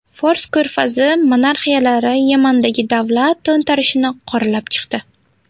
Fors ko‘rfazi monarxiyalari Yamandagi davlat to‘ntarishini qoralab chiqdi.